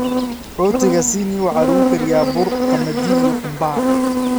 Rootiga Sini waxa lagu kariyaa bur qamadi iyo qumbaha.